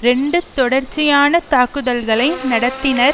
இரண்டு தொடர்ச்சியான தாக்குதல்களை நடத்தினர்